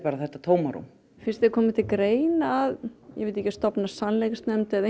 þetta tómarúm finnst þér koma til greina að stofna sannleiksnefnd eða